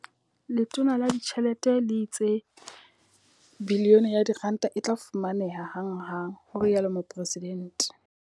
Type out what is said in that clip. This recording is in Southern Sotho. Letona la Ditjhelete le itse R1 bilione e tla fumaneha hanghang, ho rialo Mopresidente.